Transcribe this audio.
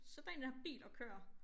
Sæt dig ind i den her bil og kør